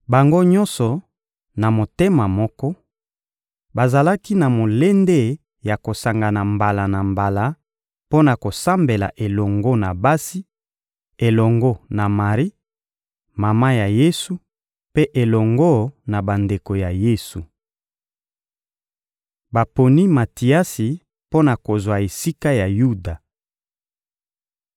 Bango nyonso, na motema moko, bazalaki na molende ya kosangana mbala na mbala mpo na kosambela elongo na basi, elongo na Mari, mama ya Yesu, mpe elongo na bandeko ya Yesu. Baponi Matiasi mpo na kozwa esika ya Yuda